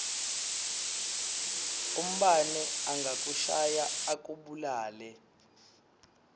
umbane angakushaya akubulale